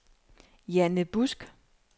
Janne Busk